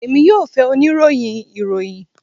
Emi yoo fẹ onirohin iroyin